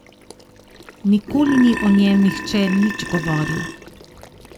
Nikoli ni o njem nihče nič govoril.